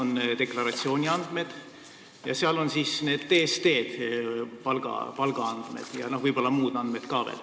Seal on deklaratsiooniandmed, TSD-d, palgaandmed, võib-olla mingid muud andmed ka veel.